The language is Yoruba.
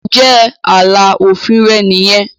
ǹjẹ́ “ààlà òfin ” rẹ nìyẹn?.